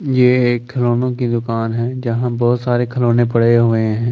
ये एक खिलौने की दुकान है जहाँ बहुत सारे खिलौने पड़े हुए है औ --